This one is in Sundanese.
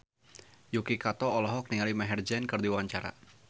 Yuki Kato olohok ningali Maher Zein keur diwawancara